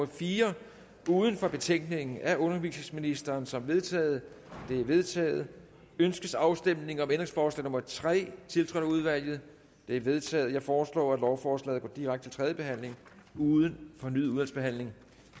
fire uden for betænkningen af undervisningsministeren som vedtaget det er vedtaget ønskes afstemning om ændringsforslag nummer tre tiltrådt af udvalget det er vedtaget jeg foreslår at lovforslaget går direkte til tredje behandling uden fornyet udvalgsbehandling